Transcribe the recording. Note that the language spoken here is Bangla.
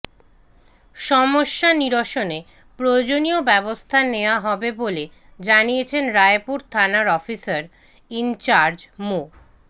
সমস্যা নিরসনে প্রয়োজনীয় ব্যবস্থা নেওয়া হবে বলে জানিয়েছেন রায়পুর থানার অফিসার ইনচার্জ মো